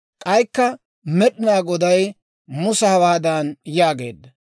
K'aykka Med'inaa Goday Musa hawaadan yaageedda;